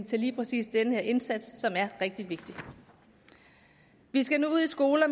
til lige præcis den her indsats som er rigtig vigtig vi skal nu ud i skoler